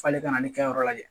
F'ale kana ne kɛ yɔrɔ lajɛ